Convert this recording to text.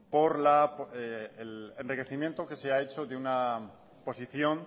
por el enriquecimiento que se ha hecho de una posición